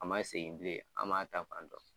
A man segin bilen an man taa fan dɔ.